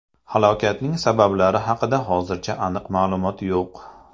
Halokatning sabablari haqida hozircha aniq ma’lumot yo‘q.